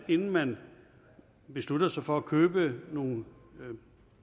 inden man beslutter sig for at købe nogle